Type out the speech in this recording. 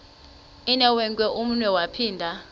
inewenkwe umnwe yaphinda